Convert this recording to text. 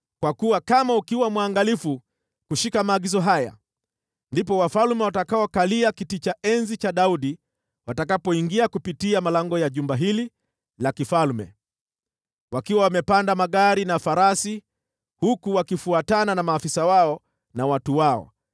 Kwa kuwa ukiwa mwangalifu kushika maagizo haya, ndipo wafalme watakaokalia kiti cha enzi cha Daudi watakapoingia kupitia malango ya jumba hili la kifalme, wakiwa wamepanda magari na farasi, huku wakifuatana na maafisa wao na watu wao.